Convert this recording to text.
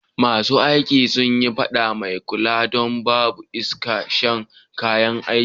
Ma su aiki sun yi fada a mai kula don babu iska'shen kayan aiki.